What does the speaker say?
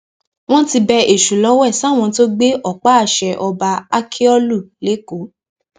wọn ti bẹ èṣù lọwẹ sáwọn tó gbé ọpá àṣẹ ọba ákíọlù lẹkọọ